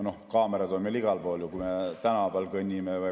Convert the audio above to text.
Kaamerad on meil igal pool, kui me tänaval kõnnime.